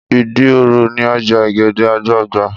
Ìdí òro ní ọjà ọ̀gẹ̀dẹ̀ àgbagbà